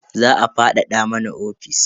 Za a fadada mana ofis.